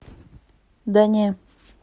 да не